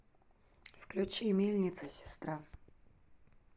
включи мельница сестра